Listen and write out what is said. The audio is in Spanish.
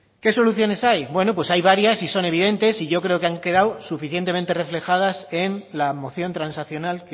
qué soluciones hay bueno pues hay varias y son evidentes y yo creo que han quedado suficientemente reflejadas en la moción transaccional